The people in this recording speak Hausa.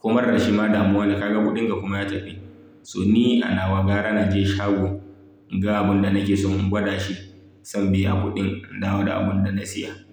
Komar dashi ma damuwane kaga kuɗinka kuma ya tafi. So ni anawa gara naje shago in ga abun da nake so in gwada shi sannan in biya kuɗin in dawo da abun da na siya.